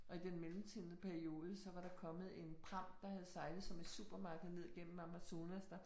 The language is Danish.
Og i den mellemtidende periode, så var der kommet en pram, der havde sejlet, som et supermarked ned gennem Amazonas der